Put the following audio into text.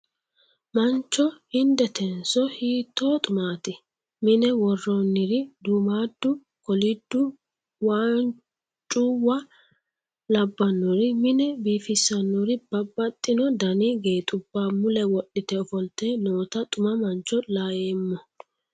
Mancho hindetenso hiittoo xumaati ?mine worroonniri duummaaddu koliddu waancuwa labbannori mine biifissinori babbaxino Dani geexubba mule wodhite ofolte noota xuma mancho laoommo.